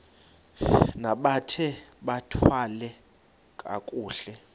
bambathe bathwale kakuhle